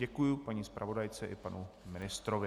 Děkuji paní zpravodajce i panu ministrovi.